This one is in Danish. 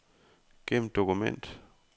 Gem dokument.